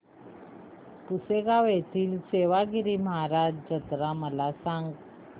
पुसेगांव येथील सेवागीरी महाराज यात्रा मला सांग